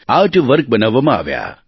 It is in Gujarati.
આર્ટ વર્ક બનાવવામાં આવ્યાં